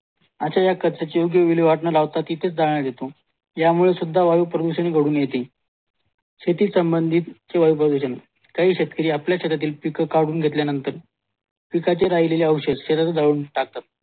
आजचा विल्लेवाट ना लावता तिथे जाळला घेतो यामुले सुद्धा वायू प्रदूषण घडून येतील शेती संबंधित प्रदूषण कई शेतकरी आपल्या शेतीतील पीक काढून घेतल्या नंतर पिकाचे राहिलेले औषध शेहरात जाऊन टाकतात